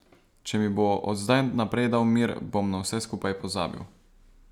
Če mi bo od zdaj naprej dal mir, bom na vse skupaj pozabil.